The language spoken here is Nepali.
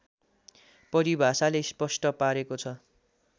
परिभाषाले स्पष्ट पारेको छ